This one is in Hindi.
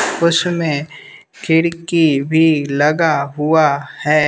उसमें खिड़की भी लगा हुआ है।